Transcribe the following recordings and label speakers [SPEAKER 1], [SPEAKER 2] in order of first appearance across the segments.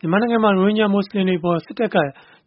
[SPEAKER 1] မြန်မာနိုင်ငံမှာ ရိုဟင်ဂျာမွတ်ဆလင်တွေအပေါ် စစ်တပ်က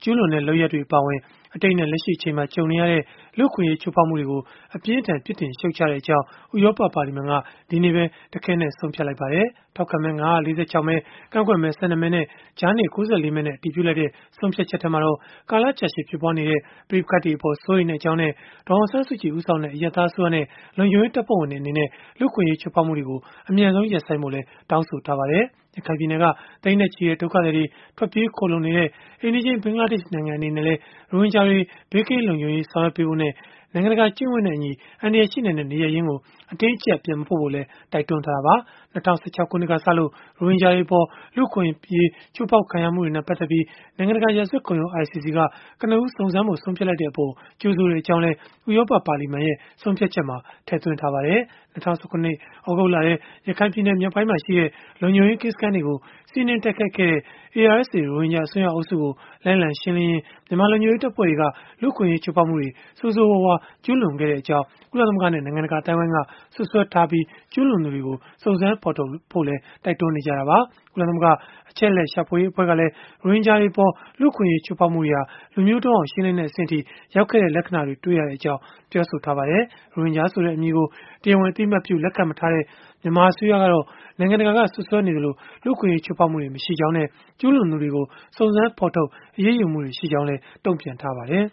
[SPEAKER 1] ကျုးလွန်တဲ့ လုပ်ရပ်တွေ အပါအဝင် အတိတ်နဲ့ လက်ရှိအချိန်မှာ ကြုံနေရတဲ့ လူ့အခွင့်အရေး ချိုးဖောက်မှုတွေကို အပြင်းအထန် ပြစ်တင်ရှုတ်ချကြောင်း ဥရောပပါလီမန်က ဒီကနေ့ပဲ တခဲနက် ဆုံးဖြတ်လိုက်ပါတယ်။ ထောက်ခံမဲ ၅၄၆ မဲ ကန့်ကွက်မဲ ၁၂ မဲနဲ့ ကြားနေ ၉၄ မဲနဲ့ အတည်ပြုလိုက်တဲ့ ဆုံးဖြတ်ချက်မှာတော့ ကာလကြာရှည် ဖြစ်ပွားနေတဲ့ ပဋိပက္ခတွေအပေါ် စိုးရိမ်ကြောင်းနဲ့ ဒေါ်အောင်ဆန်းစုကြည် ဦးဆောင်တဲ့ အရပ်သားအစိုးရနဲ့ လုံခြုံရေးတပ်ဖွဲ့ဝင်တွေ အနေနဲ့ လူ့အခွင့်အရေး ချိုးဖောက်မှုတွေကို အမြန်ဆုံး ဟန့်တားဖို့လည်း တောင်းဆိုထားပါတယ်။ ရခိုင်ပြည်နယ်က သိန်းနဲ့ချီတဲ့ ဒုက္ခသည်တွေ ထွက်ပြေးခိုလှုံနေတဲ့ အိမ်နီးချင်း ဘင်္ဂလားဒေ့ရှ်နိုင်ငံ အနေနဲ့လည်း ရိုဟင်ဂျာတွေ ဘေးကင်းလုံခြုံရေး ဆောင်ရွက်ပေးဖို့နဲ့ နိုင်ငံတကာ ကျင့်ဝတ်နဲ့အညီ အန္တရာယ်ရှိနိုင်တဲ့ နေရပ်ရင်းကို အတင်းအကျပ် ပြန်မပို့ဖို့လည်း တိုက်တွန်းထားတာပါ။ ၂၀၁၆ ခုနှစ်ကစလို့ ရိုဟင်ဂျာတွေအပေါ် လူ့အခွင့်အရေး ချိုးဖောက်ခံရမှုတွေနဲ့ ပတ်သက်လို့ နိုင်ငံတကာ ရာဇဝတ်ခုံရုံး (ICC) က ကနဦးစုံစမ်းဖို့ ဆုံးဖြတ်လိုက်တဲ့အပေါ် ကြိုဆိုကြောင်းလည်း ဥရောပပါလီမန်ရဲ့ ဆုံးဖြတ်ချက်မှာ ထည့်သွင်းထားပါတယ်။ ၂၀၁၇ သြဂုတ်လထဲ ရခိုင်ပြည်နယ် မြောက်ပိုင်းမှာရှိတဲ့ လုံခြုံရေးကင်းစခန်းတွေကို စီးနင်းတိုက်ခိုက်ခဲ့တဲ့ ARSA ရိုဟင်ဂျာအစွန်းရောက်အုပ်စုကို လိုက်လံရှင်းလင်းရာမှာ မြန်မာလုံခြုံရေး တပ်ဖွဲ့တွေက လူ့အခွင့်အရေး ချိုးဖောက်မှုတွေ ဆိုးဆိုးရွားရွား ကျုးလွန်ခဲ့ကြောင်း ကုလသမဂ္ဂနဲ့ နိုင်ငံတကာ အသိုင်းအဝန်းက စွပ်စွဲထားပြီး ကျုးလွန်သူတွေကို စုံစမ်းဖော်ထုတ်ဖို့လည်း တိုက်တွန်းနေကြတာပါ။ ကုလသမဂ္ဂ အချက်အလက် ရှာဖွေရေး အဖွဲ့ကလည်း ရိုဟင်ဂျာတွေအပေါ် လူ့အခွင့်အရေး ချိုးဖောက်မှုတွေဟာ လူမျိုးတုန်းအောင် ရှင်းလင်းတဲ့ အဆင့်အထိ ရောက်ခဲ့တဲ့ လက္ခဏာတွေ တွေ့ရကြောင်း ပြောဆိုထားပါတယ်။ ရိုဟင်ဂျာဆိုတဲ့ အမည်ကို တရားဝင် အသိအမှတ်ပြု လက်ခံမထားတဲ့ မြန်မာအစိုးရကတော့ နိုင်ငံတကာက စွပ်စွဲနေသလောက် လူ့အခွင့်အရေး ချိုးဖောက်မှုတွေ မရှိကြောင်းနဲ့ ကျုးလွန်သူတွေကို စုံစမ်းဖော်ထုတ် အရေးယူမှုတွေ ရှိခဲ့ကြောင်းလည်း တုံ့ပြန်ထားပါတယ်